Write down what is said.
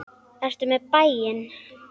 Ertu með í bæinn?